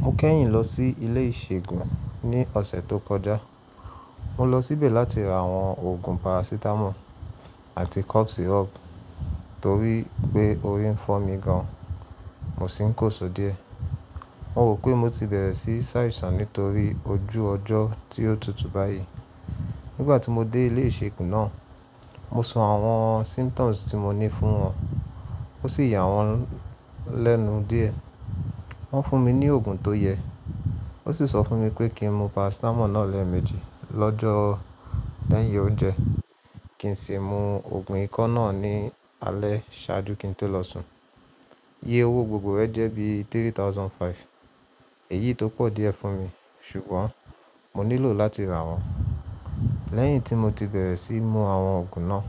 Mo kẹ́yìn lọ sí ilé ìṣègùn ní ọ̀sẹ̀ tó kọjá. Mo lọ síbẹ̀ láti ra àwọn oògùn parasitamọ́ọ̀ àti cough syrup torí pé orí ń fọ́ mi gan, mo sì ń kóṣọ díẹ̀. Mo rò pé mo ti bẹ̀rẹ̀ sí sáìsàn nítorí ojú ọjọ́ tí ó tutù báyìí. Nígbà tí mo dé ilé ìṣègùn náà, mo sọ àwọn symptoms tí mo ní fún wọn, ó sì yà wọ́n lẹ́nu díẹ̀. Wọ́n fún mi ní oògùn tó yẹ, ó sì sọ fún mi pé kí n mu parasitamọ́ọ̀ náà lẹ́ẹ̀méjì lọ́jọ́ lẹ́yìn oúnjẹ kí n sì mú oògùn ikọ́ náà ní alẹ́ ṣáájú kí n tó lọ sùn. Iye owó gbogbo rẹ jẹ́ bí i ẹgbẹ̀rún mẹ́ta ààbọ̀ náírà, èyí tó pọ̀ díẹ̀ fún mi, ṣùgbọ́n mo nílò láti rà wọ́n. Lẹ́yìn tí mo ti bẹ̀rẹ̀ sí mu àwọn oògùn náà,